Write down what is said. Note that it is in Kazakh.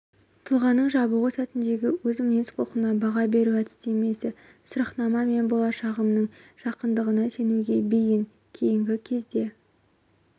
тұлғаның жабығу сәтіндегі өз мінез-құлқына баға беру әдістемесі сұрақнама мен болашағымның жарқындығына сенуге бейіін кейінгі кезде